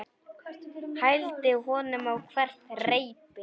Hældi honum á hvert reipi.